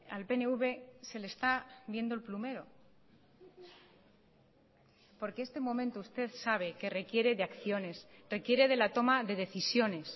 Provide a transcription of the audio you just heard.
al pnv se le está viendo el plumero porque este momento usted sabe que requiere de acciones requiere de la toma de decisiones